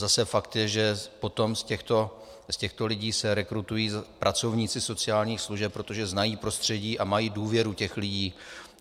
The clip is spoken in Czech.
Zase fakt je, že potom z těchto lidí se rekrutují pracovníci sociálních služeb, protože znají prostředí a mají důvěru těch lidí.